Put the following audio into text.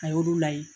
A y'olu layɛ